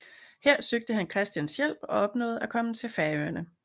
Her søgte han prins Christians hjælp og opnåede at komme til Færøerne